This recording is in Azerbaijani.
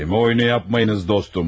Kəlmə oyunu yapmayınız, dostum.